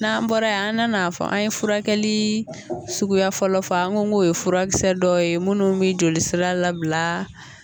N'an bɔra ye an nana fɔ an ye furakɛli suguya fɔlɔ fɔ an n ko ko ye furakisɛ dɔw ye minnu bɛ jolisira labila.